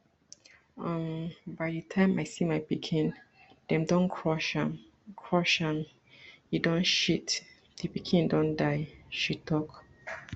um by di time i see my pikin dem don crush am crush am e don shit di pikin don die she tok